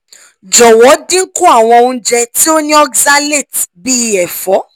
(ii) jọwọ dinku awọn ounjẹ ti o ni oxalates bii efo